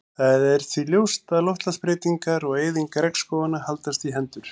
Það er því ljóst að loftslagsbreytingar og eyðing regnskóganna haldast í hendur.